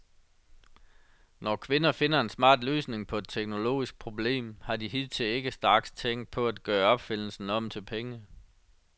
Når kvinder finder en smart løsning på et teknologisk problem, har de hidtil ikke straks tænkt på at gøre opfindelsen om til penge.